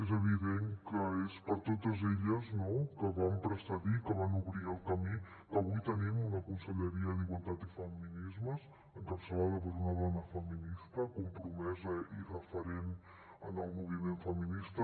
és evident que és per totes elles no que van precedir que van obrir el camí que avui tenim una conselleria d’igualtat i feminismes encapçalada per una dona feminista compromesa i referent en el moviment feminista